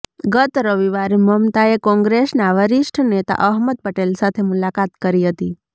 ગત રવિવારે મમતાએ કોંગ્રેસના વરિષ્ઠ નેતા અહમદ પટેલ સાથે મુલાકાત કરી હતી